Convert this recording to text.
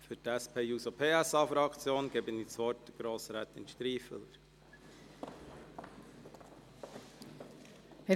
Für die SP-JUSO-PSA-Fraktion gebe ich das Wort Grossrätin Striffeler.